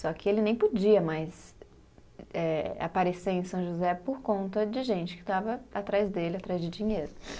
Só que ele nem podia mais eh, aparecer em São José por conta de gente que estava atrás dele, atrás de dinheiro.